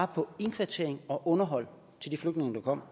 på indkvartering og underhold til de flygtninge der kom